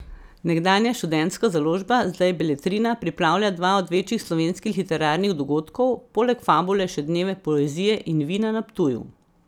Nekdanja Študentska založba, zdaj Beletrina, pripravlja dva od večjih slovenskih literarnih dogodkov, poleg Fabule še Dneve poezije in vina na Ptuju.